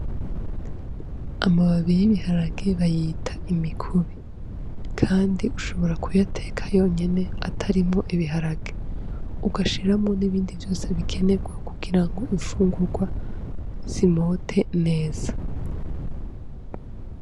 Amababi y’ibiharage bayita imikubi, kandi ushobora kuyateka yonyene atarimwo ibiharage ugashiramwo n'ibindi vyose bikenerwa kugira ngo imfungurwa zimote neza.